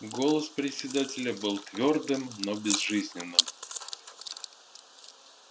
голос председателя был твёрдым но безжизненным